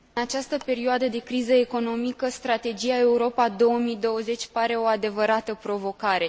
În această perioadă de criză economică, Strategia Europa 2020 pare o adevărată provocare.